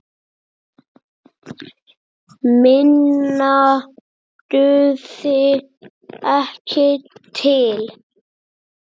Minna dugði ekki til.